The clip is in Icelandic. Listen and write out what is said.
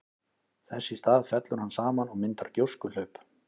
Þess í stað fellur hann saman og myndar gjóskuhlaup.